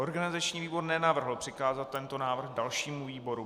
Organizační výbor nenavrhl přikázat tento návrh dalšímu výboru.